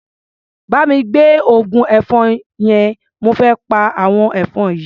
Bá mi gbé oògùn ẹ̀fọn yẹn, mo fé pa àwọn ẹ̀fọn yìí.